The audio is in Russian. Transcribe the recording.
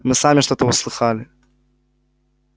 мы сами что-то услыхали